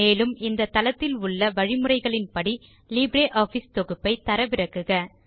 மேலும் இந்த தளத்தில் உள்ள வழிமுறைகளின் படி லிப்ரியாஃபிஸ் தொகுப்பை தரவிறக்குக